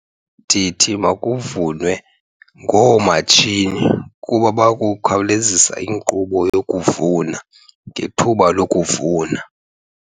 Ndithi bakuvunwe ngoomatshini kuba bakukhawulezisa inkqubo yokuvuna ngethuba lokuvuna.